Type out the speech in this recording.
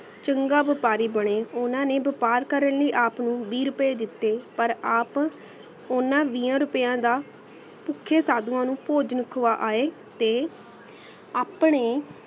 ਚੰਗਾ ਵ੍ਯਾਪਾਰੀ ਬੜੇ ਓਨਾ ਨੇ ਵ੍ਯਾਪਾਰ ਕਰਨ ਲਈ ਆਪ ਨੂ ਵੀਹ ਰੁਪਏ ਦਿੱਤੇ ਪਰ ਆਪ ਓਨਾ ਵੀਹਾਂ ਰੁਪਯਾ ਦਾ ਪੁਖਯਾ ਸਾਧੁਵਾ ਨੂ ਭੋਜਨ ਖਵਾ ਆਏ ਤੇ ਆਪਣੇ